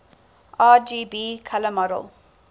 rgb color model